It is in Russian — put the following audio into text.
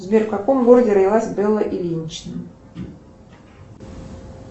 сбер в каком городе родилась белла ильинична